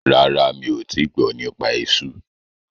Rárá, mi ò tíì gbọ́ nípa esú.